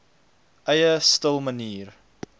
eie stil manier